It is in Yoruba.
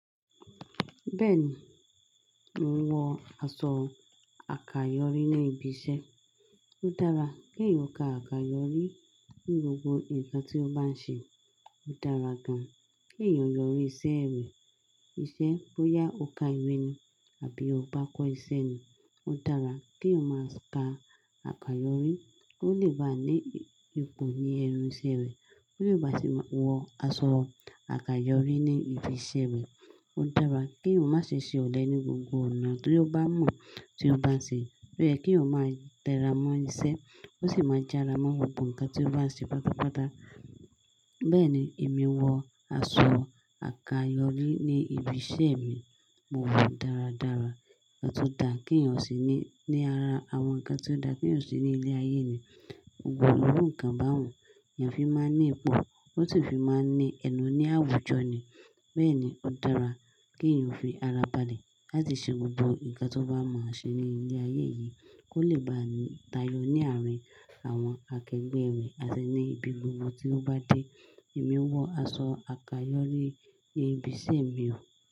Bẹ́ẹ̀ni, mò ń wọ aṣọ àkàyọrí ní ibi iṣẹ́. Ó dára kí èèyàn ó ka àkàyọ́rí ní gbogbo nǹkan tí ó bá ń ṣe. Ó dára gan-an kí èèyàn yọrí iṣẹ́ rẹ̀, iṣẹ́ bó ya ọkà ìwé ni àbí ó bá kọ́ iṣẹ́ ni. Ó dára kí èèyàn máa ka àkàyọrí kó lè bá ní ipò ní ẹnu iṣẹ́ rẹ̀, kó lè bá sì máa wọ aṣọ àkàyọrí ní ibi iṣẹ́ rẹ̀. Ó dára kí èèyàn má ṣe ṣe ọ̀lẹ ní gbogbo ọ̀nà tí ó bá mọ̀ tí ó bá ń ṣe. Ó yẹ kí èyàn máa tẹra mọ́ iṣẹ́, kó sì máa jára mọ́ gbogbo nǹkan tí ó bá ń ṣe pátápátá. Bẹ́ẹ̀ni, èmi wọ aṣọ àkàyọrí ní ibi iṣẹ́ mi. Mo wọ̀ọ́ dáradára, ó tún dà kí èyàn ò sì ní ní ara àwọn nǹkan tí ó dà kí èyàn ó ṣe ní ilé ayé ni. Gbogbo irú nkan báhun, èèyàn fi máa ń ní ipò, ó sì fi máa ń ní ẹnu ní àwùjọ ni. Bẹ́ẹ̀ni, ó dára kí èèyàn fi ara balẹ̀ láti ṣe gbogbo nǹkan tí ó bá mọ̀ á ṣe ní ilé ayé yìí kó lè bá tayọ ní àárín àwọn akẹgbẹ́ rẹ̀ àti ní ibi gbogbo tí ó bá dé. Èmi wọ aṣọ àkàyọrí ní ibi iṣẹ́ mi o.